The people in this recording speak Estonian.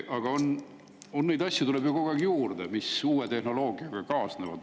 Aga neid asju tuleb ju kogu aeg juurde, mis uue tehnoloogiaga kaasnevad.